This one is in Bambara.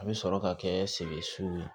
A bɛ sɔrɔ ka kɛ sɛkɛsu ye